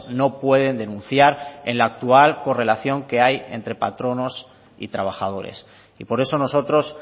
no pueden denunciar en la actual correlación que hay entre patronos y trabajadores y por eso nosotros